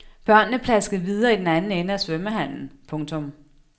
Børnene plaskede videre i den anden ende af svømmehallen. punktum